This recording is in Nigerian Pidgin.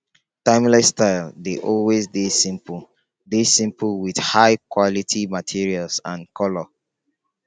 timeless styles dey always dey simple dey simple with high quality materials and color